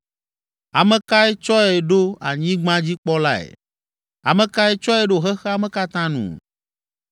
Ame kae tsɔe ɖo anyigbadzikpɔlae? Ame kae tsɔe ɖo xexea me katã nu?